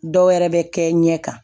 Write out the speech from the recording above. Dɔw wɛrɛ bɛ kɛ ɲɛ kan